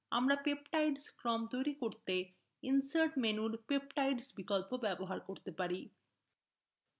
আমরা peptide ক্রম তৈরি করতে insert menu peptide বিকল্পও ব্যবহার করতে পারি